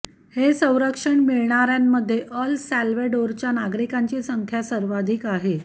हे संरक्षण मिळाणाऱ्यांमध्ये अल सॅल्वडोरच्या नागरिकांची संख्या सर्वाधिक आहे